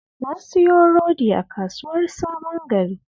Na siyo rodi a Kasuwar Sabon Gari